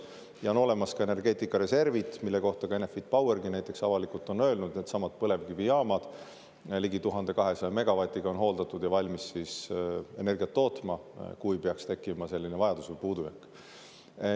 Ja on olemas ka energeetikareservid, mille kohta näiteks Enefit Power on avalikult öelnud, et needsamad põlevkivijaamad ligi 1200 megavatise on hooldatud ja valmis siis energiat tootma, kui peaks tekkima vajadus või puudujääk.